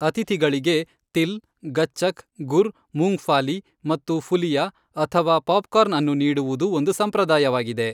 ಅತಿಥಿಗಳಿಗೆ ತಿಲ್, ಗಚ್ಚಕ್, ಗುರ್, ಮೂಂಗ್ಫಾಲಿ ಮತ್ತು ಫುಲಿಯಾ ಅಥವಾ ಪಾಪ್ಕಾರ್ನ್ ಅನ್ನು ನೀಡುವುದು ಒಂದು ಸಂಪ್ರದಾಯವಾಗಿದೆ.